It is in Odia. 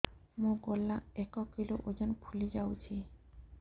ମୋ ଗଳା ଏକ କିଲୋ ଓଜନ ଫୁଲି ଯାଉଛି